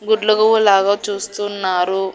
గుడ్లగూబ లాగా చూస్తున్నారు.